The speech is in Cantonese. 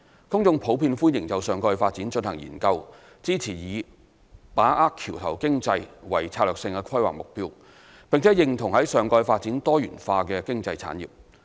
公眾普遍歡迎就上蓋發展進行研究，支持以"把握橋頭經濟"為策略性規劃目標，並認同在上蓋發展多元化經濟產業。